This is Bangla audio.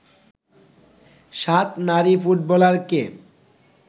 ৭ নারী ফুটবলারকে